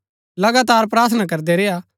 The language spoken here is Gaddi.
लगातार प्रार्थना करदै रेय्आ